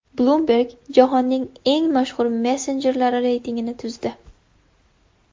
Bloomberg jahonning eng mashhur messenjerlari reytingini tuzdi.